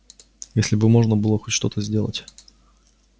если бы можно было хоть что-то сделать